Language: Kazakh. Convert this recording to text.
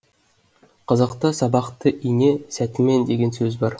қазақта сабақты ине сәтімен деген сөз бар